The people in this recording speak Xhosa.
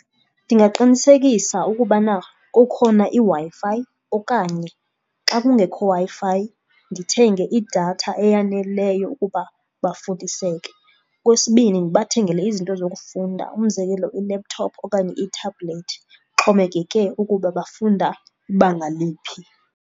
Ndingaqinisekisa ukubana kukhona iWi-Fi okanye xa kungekho Wi-Fi ndithenge idatha eyaneleyo ukuba bafundiseke. Okwesibini, ndibathengele izinto zokufunda umzekelo i-laptop okanye i-tablet. Ixhomekeke ukuba bafunda ibanga liphi.